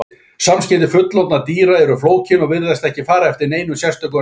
Samskipti fullorðinna dýra eru flókin og virðast ekki fara eftir neinum sérstökum reglum.